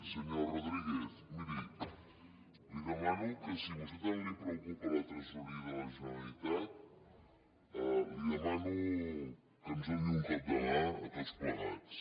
senyor rodríguez miri li demano que si a vostè tant li preocupa la tresoreria de la generalitat li demano que ens doni un cop de mà a tots plegats